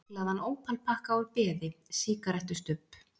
Myglaðan ópalpakka úr beði, sígarettustubb.